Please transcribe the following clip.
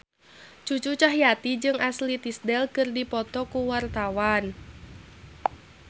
Cucu Cahyati jeung Ashley Tisdale keur dipoto ku wartawan